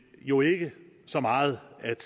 jo ikke så meget at